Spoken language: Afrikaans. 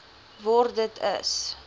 word dit is